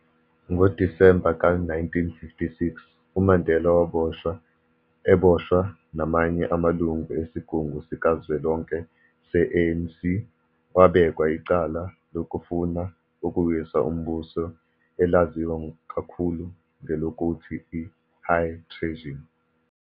NgoDisemba ka 1956, uMandela waboshwa, eboswa namanye amalunga esigungu sikazwelonke se-ANC, wabekwa icala lokufuna ukuwisa umbuso elaziwa kakhulu ngelokuthi i-"high treason".